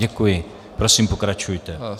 Děkuji, prosím, pokračujte.